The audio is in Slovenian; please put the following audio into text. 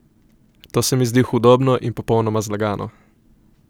To se mi zdi hudobno in popolnoma zlagano.